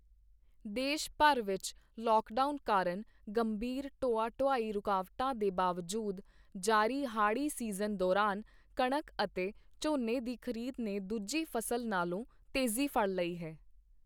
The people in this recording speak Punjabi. ਦੇਸ਼ ਭਰ ਵਿੱਚ ਲੌਕਡਾਊਨ ਕਾਰਨ ਗੰਭੀਰ ਢੋਆ ਢੁਆਈ ਰੁਕਾਵਟਾਂ ਦੇ ਬਾਵਜੂਦ, ਜਾਰੀ ਹਾੜ੍ਹੀ ਸੀਜ਼ਨ ਦੌਰਾਨ ਕਣਕ ਅਤੇ ਝੋਨੇ ਦੀ ਖ਼ਰੀਦ ਨੇ ਦੂਜੀ ਫ਼ਸਲ ਨਾਲੋਂ ਤੇਜ਼ੀ ਫੜ੍ਹ ਲਈ ਹੈ।